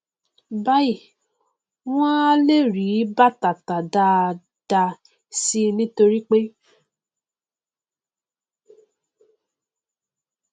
báyìí wọn a le rí bàtà tà dáadáa síi nítorípé